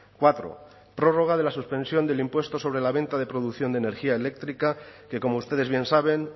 cuatro prórroga de la suspensión del impuesto sobre la venta de producción de energía eléctrica que como ustedes bien saben